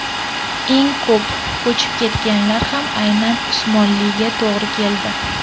Eng ko‘p ko‘chib ketganlar ham aynan Usmonliga to‘g‘ri keldi.